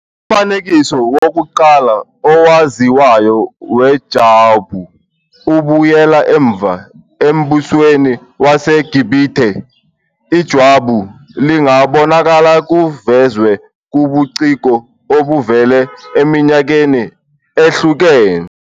Umfanekiso wokuqala owaziwayo wejwabu ubuyela emuva embusweni waseGibhithe. Ijwabu lingabonakala kuvezwe kubuciko obuvela eminyakeni ehlukene.